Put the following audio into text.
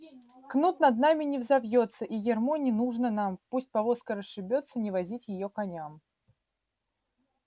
кнут над нами не взовьётся и ярмо не нужно нам пусть повозка расшибётся не возить её коням